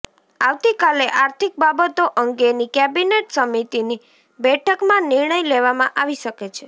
આવતીકાલે આર્થિક બાબતો અંગેની કેબિનેટ સમિતિની બેઠકમાં નિર્ણય લેવામાં આવી શકે છે